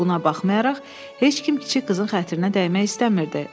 Buna baxmayaraq, heç kim kiçik qızın xətrinə dəymək istəmirdi.